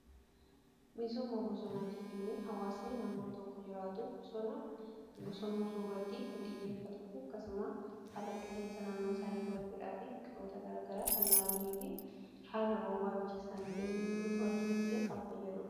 Misooma bosonaa jechuun hawaasni naannoo tokko jiraatu bosonomsuu irratti kan xiyyeeffatuufi akkasuma haala qilleensa naannoo isaanii to'achuudhaa fi biqiloota garagaraa kan dhaabanii fi haala roobaa biyya isaanii keessa jiruu to'achuuf illee kan fayyaduudha.